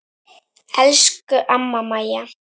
Elsku amma Mæja.